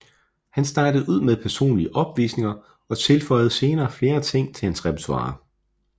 Han startede ud med personlige opvisninger og tilføjede senere flere ting til hans repertoire